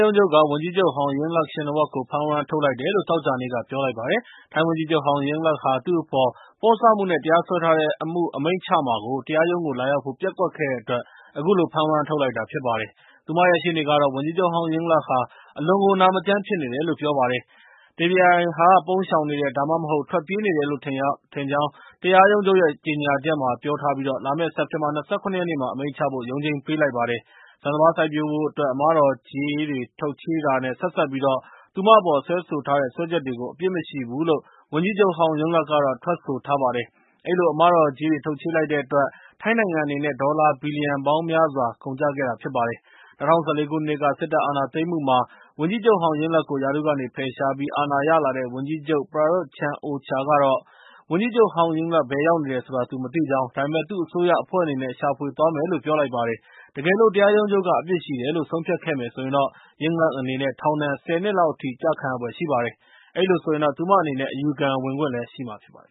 ရုံးချုပ်က ဝန်ကြီးချုပ်ဟောင်း ယင်လပ်ခ်ရှင်နဝပ်ကို ဖမ်းဝရမ်း ထုတ်လိုက်တယ်လို့ သောကြာနေ့က ပြောလိုက်ပါတယ်။ ထိုင်းဝန်ကြီးချုပ်ဟောင်း ယင်လပ်ခ်ဟာ သူ့အပေါ် ပေါ့ဆမှုနဲ့ တရားစွဲထားတဲ့အမှု အမိန့်ချမှာကို တရားရုံးကို လာရောက်ဖို့ ပျက်ကွက်ခဲ့တဲ့အတွက် အခုလိုဖမ်းဝရမ်းထုတ်လိုက်တာဖြစ်ပါတယ်။ သူမရဲ့ ရှေ့နေကတော့ ဝန်ကြီးချုပ်ဟောင်း ယင်လပ်ခ်ဟာ အလွန်ကို နာမကျန်းဖြစ်နေတယ်လို့ ပြောပါတယ်။ တရားပြိုင်ဟာ ပုန်းရှောင်နေတယ် ဒါမှမဟုတ် ထွက်ပြေးနေတယ်လို့ ထင်ကြောင်း တရားရုံးချုပ်ရဲကြေငြာမှာ ပြောထားပြီး လာမယ့် စက်တင်ဘာ ၂၇ ရက်နေ့မှာ အမိန့်ချဖို့ ရုံးချိန်း ပေးလိုက်ပါတယ်။ ဆန်စပါးစိုက်ပျိုးဖို့အတွက် အမတော်ကြေးတွေထုတ်ချေးခဲ့တာနဲ့ ဆက်စပ်ပြီး သူမအပေါ် စွဲဆိုထားတဲ့ စွဲချက်တွေကို အပြစ်မရှိဘူးလို့ ဝန်ကြီးချုပ်ဟောင်း ယင်လပ်ခ်ကတော့ ထွက်ဆိုထားပါတယ်။ အဲဒီလို အမတော်ကြေးတွေ ထုတ်ချေးလိုက်တဲ့အတွက် ထိုင်းနိုင်ငံအနေနဲ့ ဒေါ်လာဘီလီယံပေါင်းများစွာ ကုန်ကျစေခဲ့ပါတယ်။ ၂၀၁၄ ခုနှစ်က စစ်တပ်အာဏာသိမ်းမှုမှာ ဝန်ကြီးချုပ်ဟောင်း ယင်လပ်ကို ရာထူးကနေဖယ်ရှားပြီး အာဏာရလာတဲ့ ဝန်ကြီးချုပ် ပရာရွတ်ချန်အိုချာကတော့ - ဝန်ကြီးချုပ်ဟောင်းယင်လပ်ဘယ်ရောက်နေတယ်ဆိုတာ သူမသိကြောင်း၊ ဒါပေမဲ့ သူ့အစိုးရအဖွဲ့အနေနဲ့ ရှာဖွေသွာမယ်လို့ ပြောလိုက်ပါတယ်။ တကယ်လို့ တရားရုံးချုပ်က အပြစ်ရှိတယ်လို့ ဆုံးဖြတ်ခဲ့မယ်ဆိုရင်တော့ ယင်လပ်ခ်အနေနဲ့ ထောင်ဒဏ် ၁၀ နှစ်လောက်အထိ ကျခံရနိုင်ဖွယ်ရှိပါတယ်။ အဲဒီလိုဆိုရင်တော့ သူမအနေနဲ့ အယူခံဝင်ခွင့် ရရှိမှာဖြစ်ပါတယ်